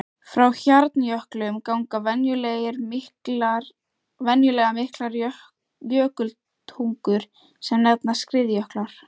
Frá hjarnjöklum ganga venjulega miklar jökultungur sem nefnast skriðjöklar.